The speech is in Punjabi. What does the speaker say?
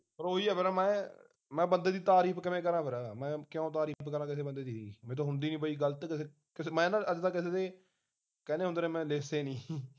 ਫਿਰ ਉਹ ਹੀ ਆ ਫ਼ੇਰ ਮੈਂ ਮੈ ਬੰਦੇ ਦੀ ਤਾਰੀਫ਼ ਕਿਵੇਂ ਕਰਾਂ ਫੇਰ ਮੈਂ ਕਿਉਂ ਤਾਰੀਫ਼ ਕਰਾਂ ਕਿਸੇ ਬੰਦੇ ਦੀ, ਮੇਥੋ ਹੁੰਦੀ ਨਹੀਂ ਪਈ ਗਲਤ ਕਿਸੇ ਕਿਸੇ ਮੈਂ ਨਾ ਅਜ ਤਕ ਕਿਸੇ ਦੀ ਕਹਿੰਦੇ ਹੁੰਦੇ ਮੈਂ ਰਿਸ਼ਤੇ ਨਹੀਂ